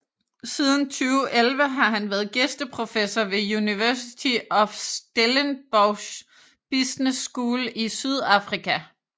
Siden 2011 har han været gæsteprofessor ved University of Stellenbosch Business School i Sydafrika